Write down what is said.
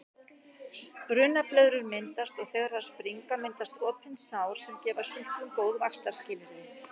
Brunablöðrur myndast og þegar þær springa myndast opin sár sem gefa sýklum góð vaxtarskilyrði.